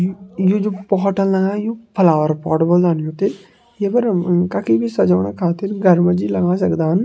यु जु पोहटल लगा युं फलावर पॉट बोल्दान यू ते। ये पर अम म कखी बि सजोणा खातिर घर मजी लगां सक्दान।